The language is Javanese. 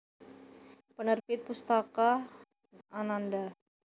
Penerbit Pustaka Ananda